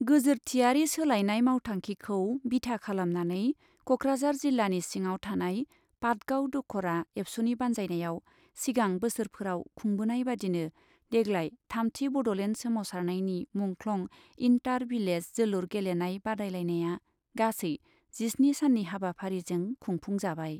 गोजोरथियारि सोलायनाय मावथांखिखौ बिथा खालामनानै कक्राझार जिल्लानि सिङाव थानाय पातगाव दख'रा एबसुनि बान्जायनायाव सिगां बोसोरफोराव खुंबोनाय बादिनो देग्लाय थामथि बड'लेण्ड सोमावसारनायनि मुंख्लं इन्टार भिलेज जोलुर गेलेनाय बादायलायनाया गासै जिस्नि साननि हाबाफारिजों खुंफुंजाबाय।